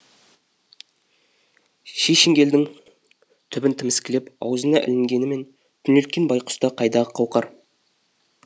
ши шеңгелдің түбін тіміскілеп аузына ілінгенімен күнелткен байқұста қайдағы қауқар